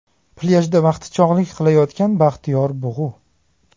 Plyajda vaqtichog‘lik qilayotgan baxtiyor bug‘u.